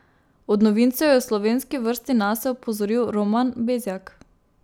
Od novincev je v slovenski vrsti nase opozoril Roman Bezjak.